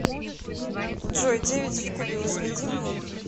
джой девять в кубе возведи мне